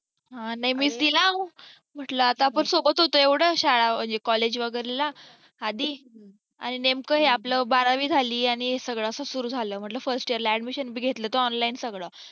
हा नाही मी दिला म्हंटलं आपण सोबत होतो एवढं शाळा म्हणजे collage वगैरे ला आधी आणि नेमक हे आपल बारावी झाली आणि हे सगळं असा सुरू झाल म्हंटलं first year बी घेतलं तर online सगळं